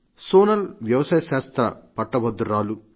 సోనల్ వ్యవసాయ శాస్త్ర పట్టభద్రురాలు